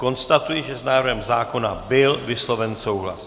Konstatuji, že s návrhem zákona byl vysloven souhlas.